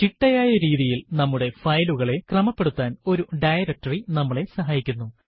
ചിട്ടയായ രീതിയിൽ നമ്മുടെ ഫയലുകളെ ക്രമപ്പെടുത്താൻ ഒരു ഡയറക്ടറി നമ്മളെ സഹായിക്കുന്നു